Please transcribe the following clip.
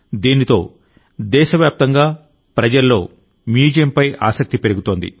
దీంతో దేశ వ్యాప్తంగా ప్రజల్లో మ్యూజియంపై ఆసక్తి పెరుగుతుంది